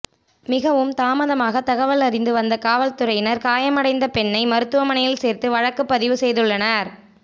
மிகவும் தாமதமாக தகவல் அறிந்து வந்த காவல் துறையினர் காயம் அடைந்த பெண்ணை மருத்துவமனையில் சேர்த்து வழக்குப் பதிவு செய்துள்ளனர்